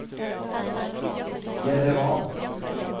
Jerevan